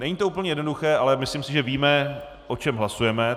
Není to úplně jednoduché, ale myslím si, že víme, o čem hlasujeme.